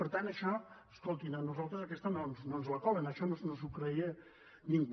per tant això escoltin a nosaltres aquesta no ens la colen això no s’ho creia ningú